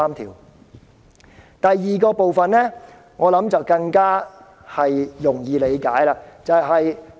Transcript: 至於第二點，我想大家應更容易理解。